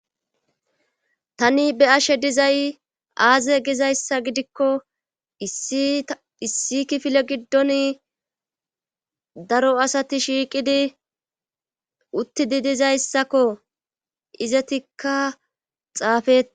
tani be ashe dizay aaze gizayssa gidikko iissi kifile giddon daro asati shiiqidi uttidi dizayssakko izetikka xaafet